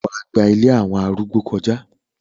wà á gba “ ilé àwọn arúgbó ” kọjá?